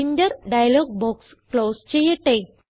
printer dialog box close ചെയ്യട്ടെ